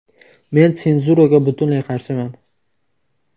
Men senzuraga butunlay qarshiman.